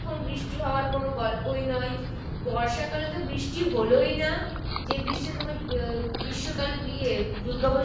যখন বৃষ্টি হওয়ায় কোনো গল্পই নয়, বর্ষাকালে তো বৃষ্টি হলোই না যে বৃষ্টি আহ দুর্গা পুজোর সময়